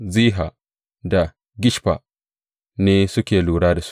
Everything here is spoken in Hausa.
Ziha, da Gishfa ne suke lura da su.